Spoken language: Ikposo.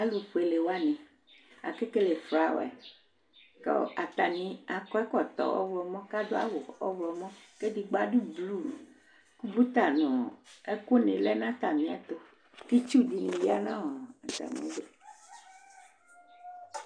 Alufuele wani Akakele flawɛz ku atani akɔ ɛkɔtɔ ɔɣlɔmɔ kadu awu ɔɣlɔmɔ ku edigbo adu blu Ku uta nu ɛku ni lɛ nu atami ɛtu ku itsu dini ya nu atami ɛtu